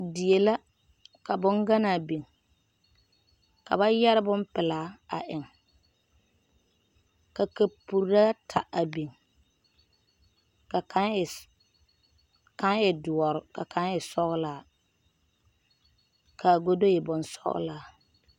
Die la ka bonganaa biŋ ka ba yɛre bonpelaa a eŋ ka kapuri ata a biŋ ka kaŋ e kaŋ e doɔre ka kaŋ e sɔglaa ka a godo e bonsɔglaa.